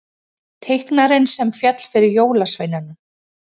Teiknarinn sem féll fyrir jólasveinunum